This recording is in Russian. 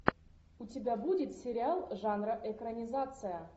у тебя будет сериал жанра экранизация